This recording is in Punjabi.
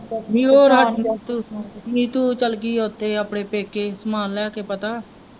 ਨੀਤੂ ਉਹ ਚੱਲ ਗਈ ਆ ਓਥੇ ਆਪਣੇ ਪੇਕੇ ਸਮਾਨ ਲੈ ਕੇ ਪਤਾ।